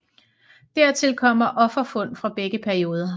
Dertil kommer offerfund fra begge perioder